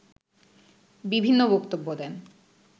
বিভিন্ন বক্তব্য দেন